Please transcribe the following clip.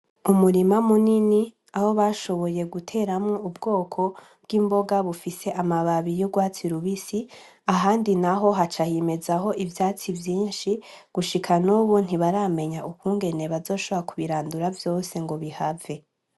Umurima munini aho bashoboye guteramwo ubwoko bw'imboga bufise amababi y'ugwatsi rubisi ahandi naho haca himezaho ivyatsi vyinshi gushika nubu ntibaramenya ukungene bazoshobora kubirandura vyose ngo bihave.